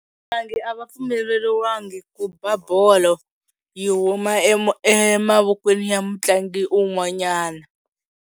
Vatlangi a va pfumeleliwangi ku ba bolo yi huma emavokweni ya mutlangi un'wanyana.